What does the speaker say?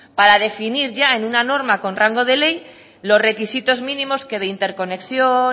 para definir ya en una norma con rango de ley los requisitos mínimos que de interconexión